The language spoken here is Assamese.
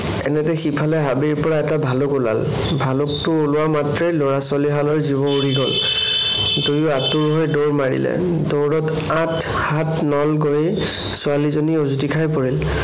এনেতে সিফালে হাবিৰ পৰা এটা ভালুক ওলাল। ভালুকটো ওলোৱা মাত্ৰেই লৰা-ছোৱালীহালৰ জীৱ উৰি গল। দুয়ো আতুৰ হৈ দৌৰ মাৰিলে। দৌৰত আঠ হাত নল গৈয়েই, ছোৱালীজনী উজুতি খাই পৰিল।